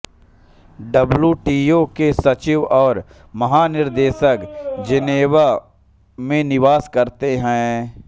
WTO के सचिव और महानिदेशक जेनेवा में निवास करते हैं